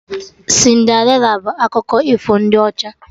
Cinderịla bụ akụkọ ifo ndị ọcha